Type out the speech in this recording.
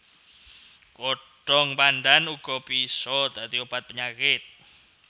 Godhong pandhan uga bisa dadi obat penyakit